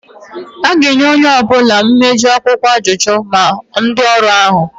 A ga-enye onye ọ bụla mejoro akwụkwọ ajụjụ, ma ndị ọrụ ọhụrụ